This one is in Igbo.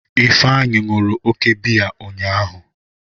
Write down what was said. Ifeanyi ṅụrụ oke biya ụnyahụ.